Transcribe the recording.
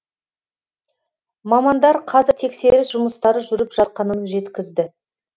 мамандар қазір тексеріс жұмыстары жүріп жатқанын жеткізді